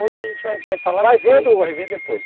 Hoje a gente vai vai falar de antes, vai vendo, vai ver depois.